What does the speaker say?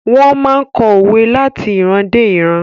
Wón máa n kọ́ òwe láti ìran dé ìran